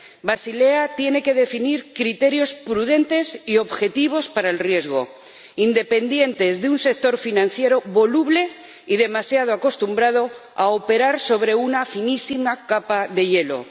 Basilea tiene que definir criterios prudentes y objetivos para el riesgo, independientes de un sector financiero voluble y demasiado acostumbrado a operar sobre una finísima capa de hielo.